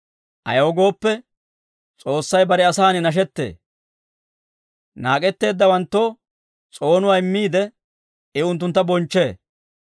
Ayaw gooppe, S'oossay bare asan nashettee; Naak'etteeddawanttoo s'oonuwaa immiide, I unttuntta bonchchee.